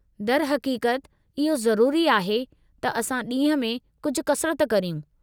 दरहक़ीक़त, इहो ज़रूरी आहे त असां ॾींहं में कुझु कसरत करियूं।